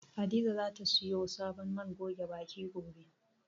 Hadiza zata siyo sabon man goge baki, gobe.